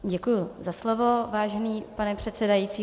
Děkuji za slovo, vážený pane předsedající.